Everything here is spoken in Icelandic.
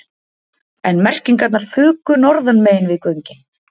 En merkingarnar fuku norðanmegin við göngin